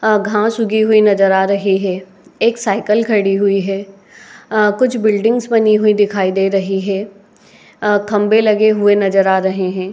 अ- घास उगी हुई नजर आ रही है। एक साइकिल खड़ी हुई है। आ- कुछ बिल्डिंग बनी हुई दिखाई दे रही है। अ- खंभे लगे हुए नजर आ रहे हैं।